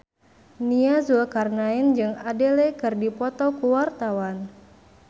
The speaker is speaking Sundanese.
Nia Zulkarnaen jeung Adele keur dipoto ku wartawan